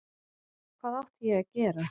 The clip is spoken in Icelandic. Hvað átti ég að gera?